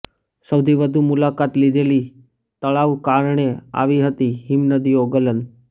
સૌથી વધુ મુલાકાત લીધેલી તળાવ કારણે આવી હતી હિમનદીઓ ગલન